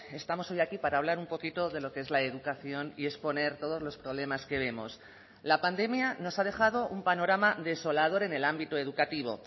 estamos hoy aquí para hablar un poquito de lo que es la educación y exponer todos los problemas que vemos la pandemia nos ha dejado un panorama desolador en el ámbito educativo